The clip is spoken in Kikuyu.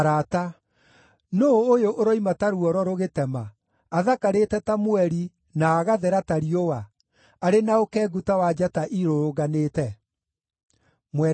Nũũ ũyũ ũroimĩra ta ruoro rũgĩtema, athakarĩte ta mweri, na agathera ta riũa, arĩ na ũkengu ta wa njata irũrũnganĩte?